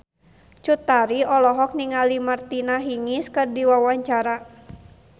Cut Tari olohok ningali Martina Hingis keur diwawancara